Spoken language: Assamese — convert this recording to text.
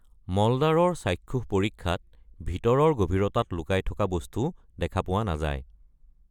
মলদ্বাৰৰ চাক্ষুষ পৰীক্ষাত ভিতৰৰ গভীৰতাত লুকুৱাই থকা বস্তু দেখা পোৱা নাযায়।